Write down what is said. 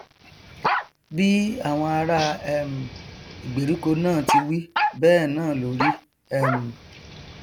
bí àwọn ará um ìgbèríko náà ti wí bẹẹ náà ló rí um